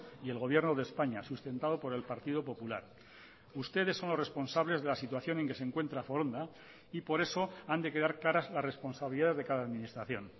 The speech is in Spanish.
y el gobierno de españa sustentado por el partido popular ustedes son los responsables de la situación en que se encuentra foronda y por eso han de quedar claras las responsabilidades de cada administración